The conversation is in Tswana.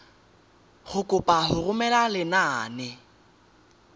go kopa go romela lenane